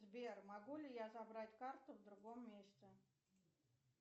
сбер могу ли я забрать карту в другом месте